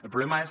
el problema és